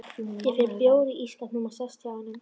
Ég finn bjór í ísskápnum og sest hjá honum.